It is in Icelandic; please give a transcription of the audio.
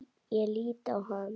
Ég lít á hana.